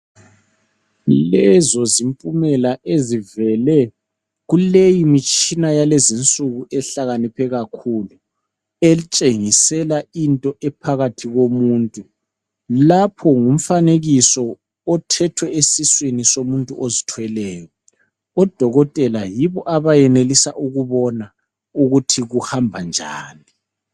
Lezo zimpumela ezivele kuleyi mitshina yakulezinsuku ehlakaniphe kakhulu, etshengisela into ephakathi komuntu. Lapho ngumfanekiso othethwe esiswini somuntu ozithweleyo. Odokotela yibo abayenelisa ukubona ukuthi kuhamba njani.